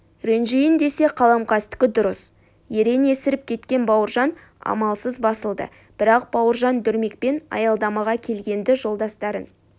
ренжиін десе қаламқастікі дұрыс ерен есіріп кеткен бауыржан амалсыз басылды бірақ бауыржан дүрмекпен аялдамаға келгенді жолдастарын